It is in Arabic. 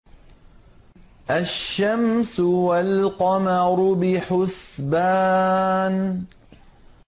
الشَّمْسُ وَالْقَمَرُ بِحُسْبَانٍ